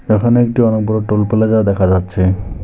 এখন একটি অনেক বড় টোল প্লাজা দেখা যাচ্ছে।